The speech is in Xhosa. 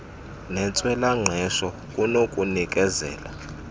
nentswela ngqesho kunokunikezela